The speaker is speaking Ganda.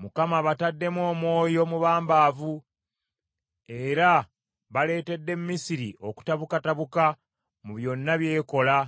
Mukama abataddemu omwoyo omubambaavu era baleetedde Misiri okutabukatabuka mu byonna by’ekola,